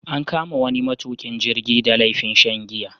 An kama wani matukin jirgi da laifin shan giya.